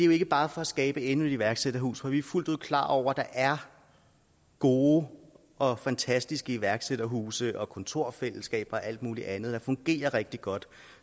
jo ikke bare skabe endnu et iværksætterhus for vi er fuldt ud klar over at der er gode og fantastiske iværksætterhuse og kontorfællesskaber og alt muligt andet der fungerer rigtig godt